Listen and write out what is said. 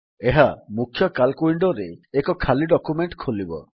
ଏହା ମୁଖ୍ୟ ସିଏଏଲସି ୱିଣ୍ଡୋରେ ଏକ ଖାଲି ଡକ୍ୟୁମେଣ୍ଟ୍ ଖୋଲିବ